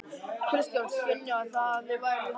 Kristján: Skynjaðirðu það að þið væruð í hættu?